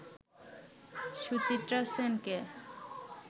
সুচিত্রা সেনকে